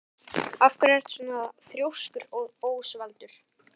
Af hverju ertu svona þrjóskur, Ósvaldur?